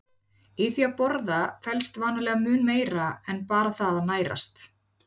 Í því að borða felst vanalega mun meira en bara það að nærast.